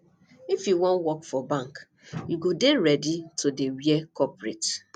if you wan work for bank you go dey ready to dey wear corporate